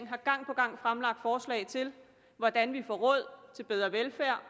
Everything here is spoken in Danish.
har gang på gang fremlagt forslag til hvordan vi får råd til bedre velfærd